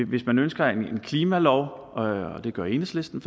hvis man ønsker en klimalov og det gør enhedslisten